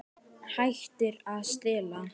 Hættir að stela.